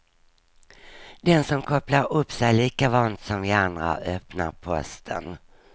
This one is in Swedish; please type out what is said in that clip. Den som kopplar upp sig lika vant som vi andra öppnar posten.